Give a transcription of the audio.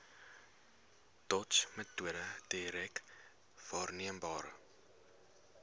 dotsmetode direk waarneembare